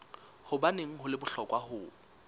hobaneng ho le bohlokwa ho